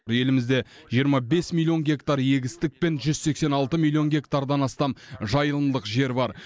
елімізде жиырма бес миллион гектар егістік пен жүз сексен алты миллион гектардан астам жайылымдық жер бар